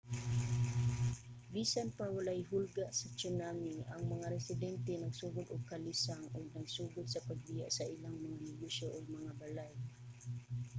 bisan pa walay hulga sa tsunami ang mga residente nagsugod og kalisang ug nagsugod sa pagbiya sa ilang mga negosyo ug mga balay